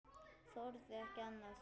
Þorði ekki annað.